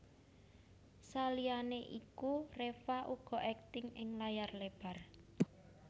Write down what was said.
Saliyané iku Reva uga akting ing layar lebar